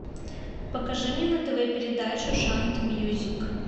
покажи мне на тв передачу шант мьюзик